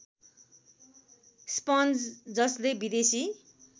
sponge जसले विदेशी